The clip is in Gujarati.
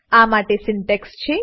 આ માટે સિન્ટેક્સ છે